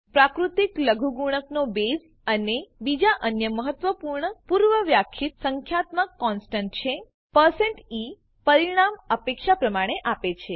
પ્રાકૃતિક લઘુગુણકનો બેઝ એ બીજો અન્ય મહત્વપૂર્ણ પૂર્વવ્યાખ્યિત સંખ્યાત્મક કોનસ્ટંટ છે પરસેન્ટ ઇ પરિણામ અપેક્ષા પ્રમાણે આપે છે